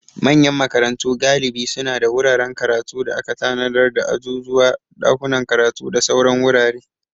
Manyan makarantu galibi suna da wuraren karatu da aka tanadar da azuzuwa, dakunan karatu, da sauran wurare.